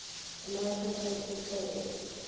american presbyterians